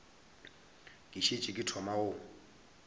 ke šetše ke thoma go